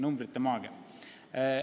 Numbrite maagia!